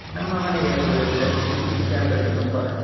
ನಮ್ಮ ಮನೆಗೆ ಬರ್ಬೊದಲ್ಲ ಜಾಗ ಉಂಟು ತುಂಬ.